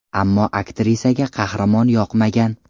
Ammo aktrisaga qahramon yoqmagan.